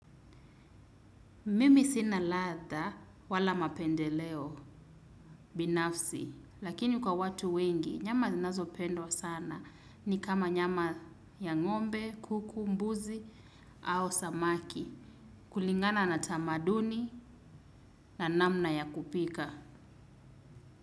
Mimi sina latha, wala mapendeleo. Binafsi. Lakini kwa watu wengi, nyama zinazo pendwa sana ni kama nyama ya ngombe, kuku, mbuzi au samaki. Kulingana na tamaduni na namna ya kupika.